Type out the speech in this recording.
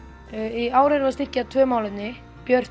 í ár erum við að styrkja tvö málefni björt